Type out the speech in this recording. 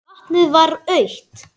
Vatnið var autt.